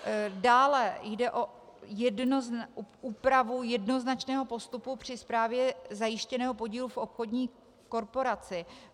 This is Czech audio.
Dále jde o úpravu jednoznačného postupu při správě zajištěného podílu v obchodní korporaci.